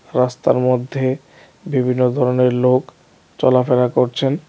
রাস্তার মধ্যে বিভিন্ন ধরনের লোক চলাফেরা করছেন।